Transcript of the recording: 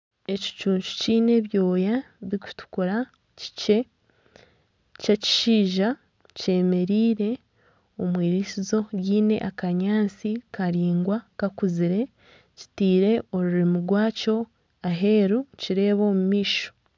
Ekicuncu kyine ebyoya birikutukura kyikye ky'ekishaija kyemereire omu iritsizo ryine akanyaantsi karaingwa kakuzire kitaire orurimi rwakyo aheeru nikyireba omu maisho.